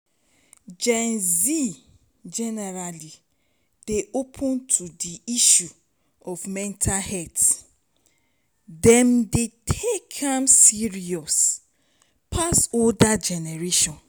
gen z generally dey open to di issue of mental health dem dey take am serious pass older generation